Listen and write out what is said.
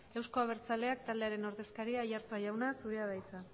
euzko abertzaleak taldearen ordezkaria aiartza jauna zurea da hitza